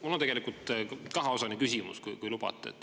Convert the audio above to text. Mul on tegelikult kaheosaline küsimus, kui lubate.